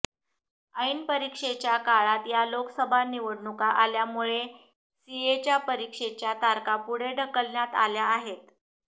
ऐन परीक्षेच्या काळात या लोकसभा निवडणुका आल्यामुळे सीएच्या परीक्षेच्या तारखा पुढे ढकलण्यात आल्या आहेत